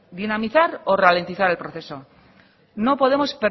dinamizar o ralentizar el proceso no podemos